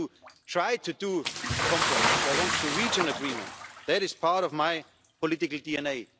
I want to try to achieve a compromise, I want to reach an agreement that is part of my political